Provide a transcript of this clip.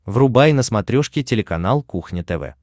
врубай на смотрешке телеканал кухня тв